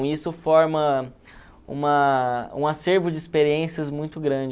E isso forma uma um acervo de experiências muito grande.